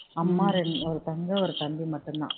அம்மா ஒரு தங்கை ஒரு தம்பி மட்டும் தான்